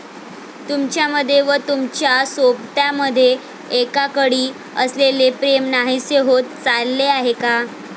तुमच्यामध्ये व तुमच्या सोबत्यामध्ये एकेकाळी असलेले प्रेम नाहीसे होत चालले आहे का?